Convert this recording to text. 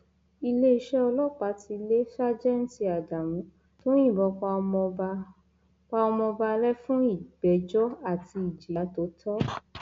iléeṣẹ ọlọpàá ti lé ṣàjètì ádámù tó yìnbọn pa ọmọọba pa ọmọọba lẹfun ìgbẹjọ àti ìjìyà tó tọ